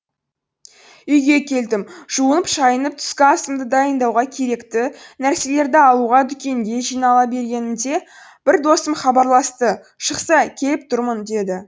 үйге келдім жуынып шайынып түскі асымды дайындауға керекті нәрселерді алуға дүкенге жинала бергенімде бір досым хабарласты шықсай келіп тұрмын деді